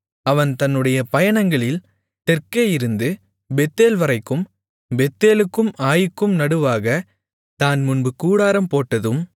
அவன் தன்னுடைய பயணங்களில் தெற்கேயிருந்து பெத்தேல்வரைக்கும் பெத்தேலுக்கும் ஆயீக்கும் நடுவாகத் தான் முன்பு கூடாரம்போட்டதும்